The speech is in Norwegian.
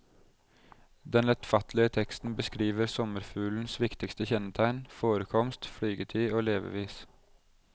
Den lettfattelige teksten beskriver sommerfuglens viktigste kjennetegn, forekomst, flygetid og levevis.